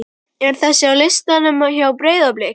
er þessi á listanum hjá Breiðablik?